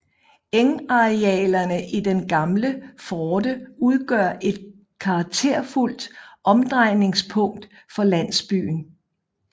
Engarealerne i den gamle forte udgør et karakterfuldt omdrejningspunkt for landsbyen